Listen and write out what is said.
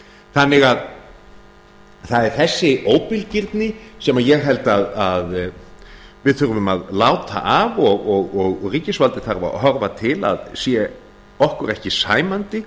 þannig að það er þessi óbilgirni sem ég held að við þurfum að láta af og ríkisvaldið þarf að horfa til að sé okkur ekki sæmandi